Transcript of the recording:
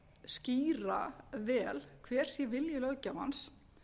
skýra vel hver sé vilji löggjafans